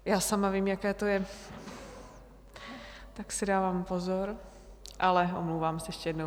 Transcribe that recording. Já sama vím, jaké to je, tak si dávám pozor, ale omlouvám se ještě jednou.